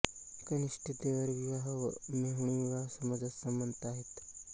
कनिष्ठ देवर विवाह व मेहुणी विवाह समाजात समंत आहेत